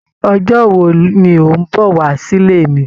Ọjọ́ wo ní o n bọ wá sile mí?